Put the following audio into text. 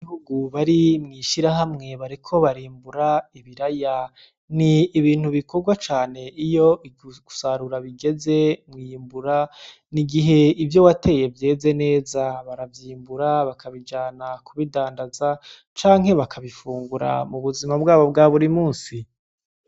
Abanyagihugu bari mw'ishirahamwe bariko barimbura ibiraya, ni ibintu bikorwa cane iyo gusarura bigeze mw'iyimbura, ni igihe ivyo wateye vyeze neza baravyimbura bakabijana kubidandaza canke bakabifungura mu buzima bwabo bwa buri munsi.